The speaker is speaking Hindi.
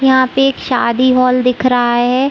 यहाँ पे एक शादी हॉल दिख रहा है।